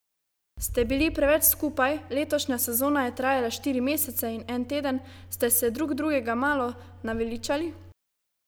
Ste bili preveč skupaj, letošnja sezona je trajala štiri mesece in en teden, ste se drug drugega malo naveličali?